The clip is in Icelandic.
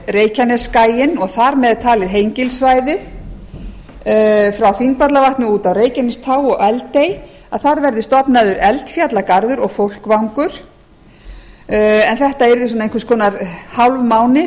reykjanesskagann og þar með talið hengilssvæðið frá þingvallavatni út á reykjanestá og eldey þar verði stofnaður eldfjallagarður og fólkvangur en þetta yrði einhvers konar hálfmáni